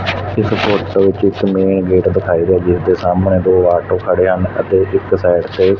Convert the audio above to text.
ਇਸ ਫ਼ੋਟੋ ਚਿਤ੍ਰ ਮੇਂ ਗੇਟ ਦਿਖਾਏ ਗਏ ਜਿੱਸ ਦੇ ਸਾਹਮਣੇ ਦੋ ਯਾਕ ਖੜੇ ਹਨ ਅਤੇ ਇੱਕ ਸਾਈਡ ਤੇ--